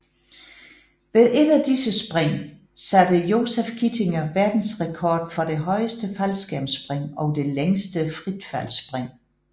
Ved et af disse spring satte Joseph Kittinger verdensrekord for det højeste faldskærmsspring og det længste fritfaldsspring